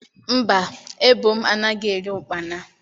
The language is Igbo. Mba, ebo m anaghi eri ụkpana.